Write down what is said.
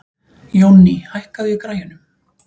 Jónný, hækkaðu í græjunum.